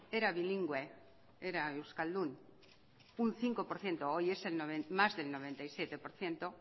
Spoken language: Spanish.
era bilingüe era euskaldun un cinco por ciento hoy es más del noventa y siete por ciento